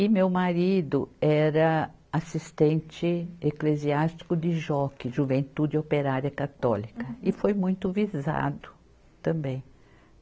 E meu marido era assistente eclesiástico de joque, juventude operária católica, e foi muito visado também.